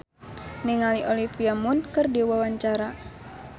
Joey Alexander olohok ningali Olivia Munn keur diwawancara